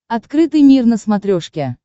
открытый мир на смотрешке